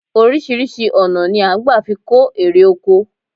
Oríṣiríṣi ọ̀nà ni à n gbà fi kó erè oko